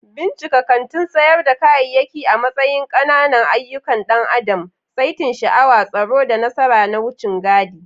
Bincika kantin sayar da kayayyaki a matsayin ƙananan ayyukan ɗan adam, saitin sha'awa, tsoro, da nasara na wucin gadi.